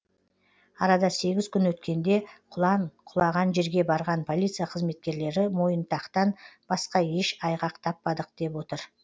арада сегіз күн өткенде құлан құлаған жерге барған полиция қызметкерлері мойынтақтан басқа еш айғақ таппадық деп отыр